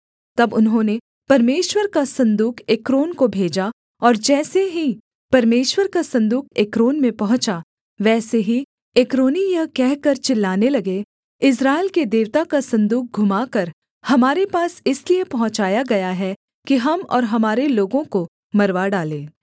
तब उन्होंने परमेश्वर का सन्दूक एक्रोन को भेजा और जैसे ही परमेश्वर का सन्दूक एक्रोन में पहुँचा वैसे ही एक्रोनी यह कहकर चिल्लाने लगे इस्राएल के देवता का सन्दूक घुमाकर हमारे पास इसलिए पहुँचाया गया है कि हम और हमारे लोगों को मरवा डालें